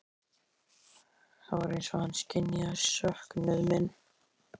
Það var eins og hann skynjaði söknuð minn.